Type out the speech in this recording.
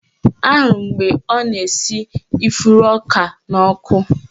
Ahụrụ m mgbe ọ na-esi ifuru isi ọka n'ọkụ